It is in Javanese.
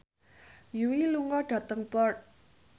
Yui lunga dhateng Perth